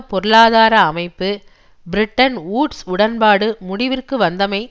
பொருளாதார அமைப்பு Bretton Woods உடன்பாடு முடிவிற்கு வந்தமை